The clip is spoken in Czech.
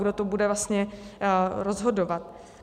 Kdo to bude vlastně rozhodovat?